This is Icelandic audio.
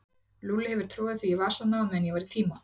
Lúlli hefur troðið því í vasana á meðan ég var í tíma.